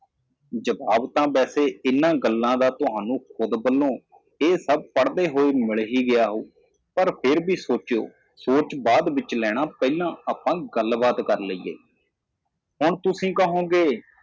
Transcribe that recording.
ਇਹਨਾਂ ਗੱਲਾਂ ਦਾ ਜਵਾਬ ਆਪਣੇ ਆਪ ਨੂੰ ਬੰਨ੍ਹੋ ਇਹ ਸਭ ਪੜ੍ਹਦਿਆਂ ਜ਼ਰੂਰ ਮਿਲਿਆ ਹੋਵੇਗਾ ਪਰ ਫਿਰ ਵੀ ਸੋਚੋ ਬਾਅਦ ਵਿੱਚ ਸੋਚੋ ਪਹਿਲਾਂ ਅਸੀਂ ਗੱਲ ਕਰਦੇ ਹਾਂ ਹੁਣ ਤੁਸੀਂ ਕਹੋਗੇ